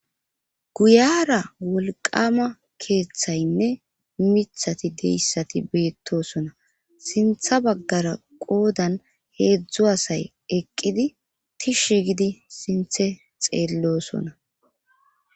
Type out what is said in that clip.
guyara wolqama keeththaynne mithati deyssati beettosona sintha baggara qoodan heedzdzu asay eqqidi tishi gidi sinthe xeellosona